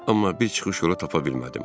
Amma bir çıxış yolu tapa bilmədim.